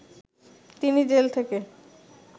তিনি জেল থেকে